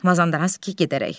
Mazandaranski gedərək.